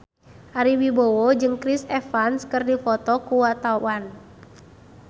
Ari Wibowo jeung Chris Evans keur dipoto ku wartawan